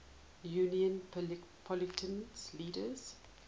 union political leaders